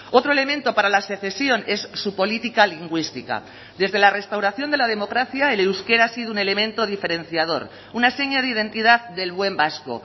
otro elemento para la secesión es su política lingüística desde la restauración de la democracia el euskera ha sido un elemento diferenciador una seña de identidad del buen vasco